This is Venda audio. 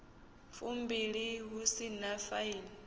fumbilimbili hu si na faini